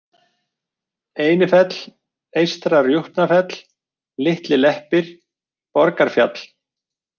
Einifell, Eystra-Rjúpnafell, Litli-Leppir, Borgarfjall